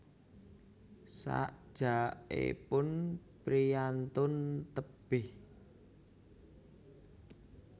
Sajakipun priyantun tebih